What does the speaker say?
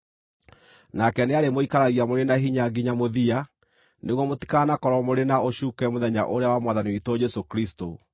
Nake nĩarĩmũikaragia mũrĩ na hinya nginya mũthia, nĩguo mũtikanakorwo mũrĩ na ũcuuke mũthenya ũrĩa wa Mwathani witũ Jesũ Kristũ.